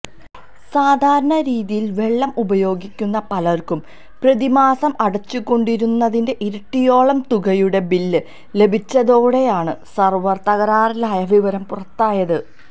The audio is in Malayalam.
സാധാരണ രീതിയിൽ വെള്ളം ഉപയോഗിക്കുന്ന പലർക്കും പ്രതിമാസം അടച്ചുകൊണ്ടിരുന്നതിന്റെ ഇരട്ടിയോളം തുകയുടെ ബില്ല് ലഭിച്ചതോടെയാണ് സെർവർ തകരാറിലായ വിവരം പുറത്തായത്